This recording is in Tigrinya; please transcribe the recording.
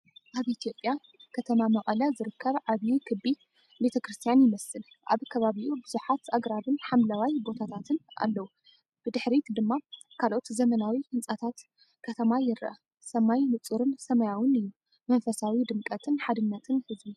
ኣብ ኢትዮጵያ ከተማ መቐለ ዝርከብ ዓቢ ክቢ ቤተክርስትያን ይመስል። ኣብ ከባቢኡ ብዙሓት ኣግራብን ሓምለዋይ ቦታታትን ኣለዉ፣ ብድሕሪት ድማ ካልኦት ዘመናዊ ህንጻታት ከተማ ይርአ። ሰማይ ንጹርን ሰማያውን እዩ። መንፈሳዊ ድምቀትን ሓድነትን ህዝቢ!